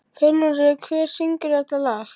Fjólmundur, hver syngur þetta lag?